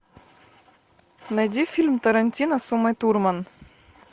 найди фильм тарантино с умой турман